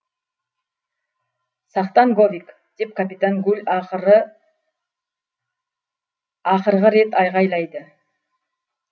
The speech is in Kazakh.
сақтан говик деп капитан гуль ақырғы рет айқайлайы